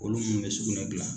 Olu minnu bɛ sugunɛ dilan